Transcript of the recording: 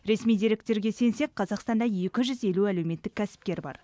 ресми деректерге сенсек қазақстанда екі жүз елу әлеуметтік кәсіпкер бар